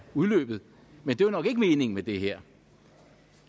udløbet men det er nok ikke meningen med det her